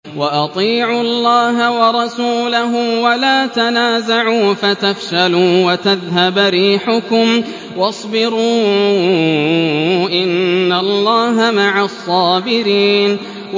وَأَطِيعُوا اللَّهَ وَرَسُولَهُ وَلَا تَنَازَعُوا فَتَفْشَلُوا وَتَذْهَبَ رِيحُكُمْ ۖ وَاصْبِرُوا ۚ إِنَّ اللَّهَ مَعَ الصَّابِرِينَ